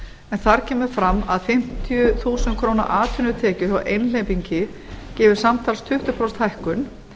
en þar kemur fram að fimmtíu þúsund krónur atvinnutekjur hjá einhleypingi gefur samtals tuttugu prósenta hækkun